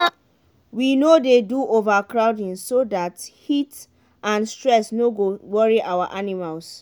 we no dey do overcrowding so dat heat and stress no go worry our animals.